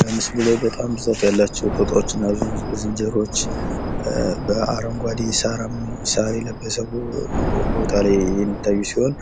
በምስሉ ላይ በጣም ብዙ ጦጣዎችና ዝንጀሮዎች በአረንጓዴ ሳር የለበሰ ቦታ ላይ ይታያሉ።